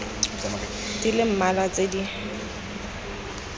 di le mmalwa tse di